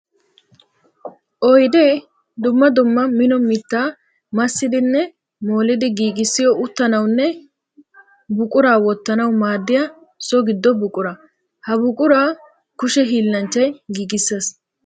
Oydde dumma dumma mino mitta massidinne molliddi giigissiyo uttanawunne buqura wottanawu maadiya so gido buqura. Ha buqura kushe hiillanchchay giigisees.